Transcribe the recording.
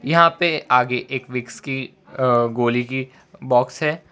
यहां पे आगे एक विक्स की अ गोली की बॉक्स है।